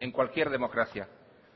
en cualquier democracia